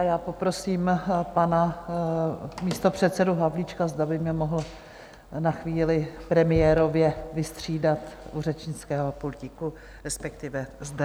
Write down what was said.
A já poprosím pana místopředsedu Havlíčka, zda by mě mohl na chvíli premiérově vystřídat u řečnického pultíku, respektive zde.